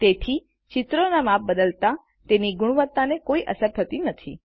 તેથીચિત્રોના માપ બદલાતા તેની ગુણવત્તાને કોઈ અસર થતી નથી